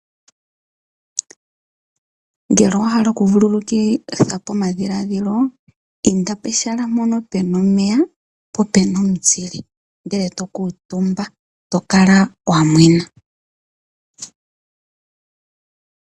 Ngele owahala oku vululukitha po omadhiladhilo inda pehala poka puna omeya po opuna omuzile ndele tokutumba tokala wamwena.